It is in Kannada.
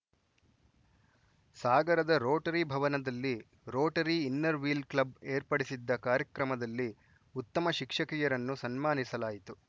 ಸಾಗರದ ರೋಟರಿ ಭವನದಲ್ಲಿ ರೋಟರಿ ಇನ್ನರ್‌ವ್ಹೀಲ್‌ ಕ್ಲಬ್‌ ಏರ್ಪಡಿಸಿದ್ದ ಕಾರ್ಯಕ್ರಮದಲ್ಲಿ ಉತ್ತಮ ಶಿಕ್ಷಕಿಯರನ್ನು ಸನ್ಮಾನಿಸಲಾಯಿತು